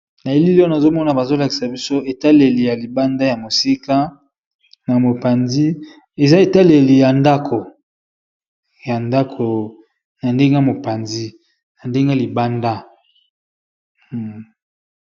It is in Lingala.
na elili ono azomona bazolakisa biso etaleli ya libanda ya mosika na mopanzi eza etaleli ya ndako na ndenge y mopanzi na ndenge libanda